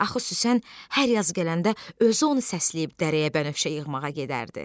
Axı Süslən hər yazı gələndə özü onu səsləyib dərəyə bənövşə yığmağa gedərdi.